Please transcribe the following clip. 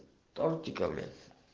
тортиками